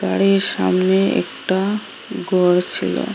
গাড়ির সামনে একটা গর ছিল।